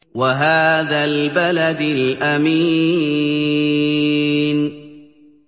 وَهَٰذَا الْبَلَدِ الْأَمِينِ